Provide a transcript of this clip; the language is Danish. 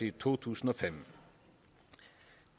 i to tusind og fem